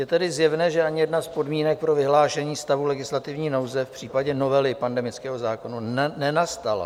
Je tedy zjevné, že ani jedna z podmínek pro vyhlášení stavu legislativní nouze v případě novely pandemického zákona nenastala.